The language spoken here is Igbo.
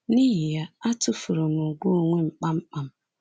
N’ihi ya, atụfuru m ùgwù onwe m kpamkpam.